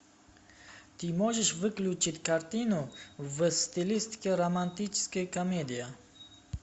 ты можешь включить картину в стилистике романтическая комедия